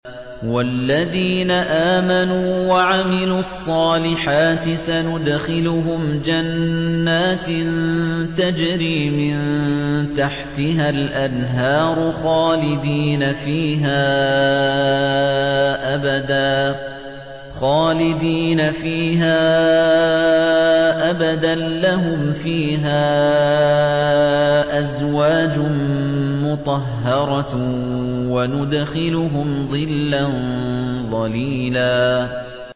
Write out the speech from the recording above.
وَالَّذِينَ آمَنُوا وَعَمِلُوا الصَّالِحَاتِ سَنُدْخِلُهُمْ جَنَّاتٍ تَجْرِي مِن تَحْتِهَا الْأَنْهَارُ خَالِدِينَ فِيهَا أَبَدًا ۖ لَّهُمْ فِيهَا أَزْوَاجٌ مُّطَهَّرَةٌ ۖ وَنُدْخِلُهُمْ ظِلًّا ظَلِيلًا